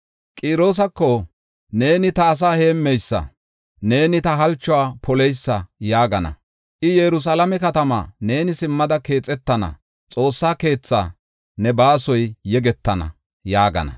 Qiroosako, ‘Neeni ta asaa heemmeysa; neeni ta halchuwa poleysa’ yaagana. I, Yerusalaame katamaa, ‘Neeni simmada keexetana’; xoossa keethaa, ‘Ne baasoy yegetana’ ” yaagana.